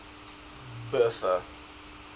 bertha